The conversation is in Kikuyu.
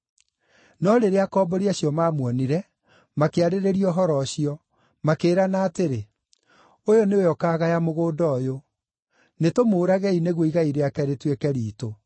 “No rĩrĩa akombori acio maamuonire, makĩarĩrĩria ũhoro ũcio. Makĩĩrana atĩrĩ, ‘Ũyũ nĩwe ũkaagaya mũgũnda ũyũ. Nĩtũmũũragei nĩguo igai rĩake rĩtuĩke riitũ.’